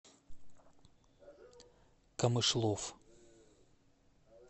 камышлов